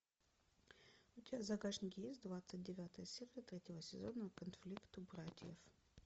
у тебя в загашнике есть двадцать девятая серия третьего сезона конфликт у братьев